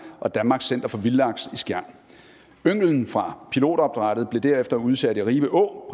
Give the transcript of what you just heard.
og danmarks center for vildlaks i skjern ynglen fra pilotopdrættet blev derefter udsat i ribe å